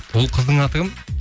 ол қыздың аты кім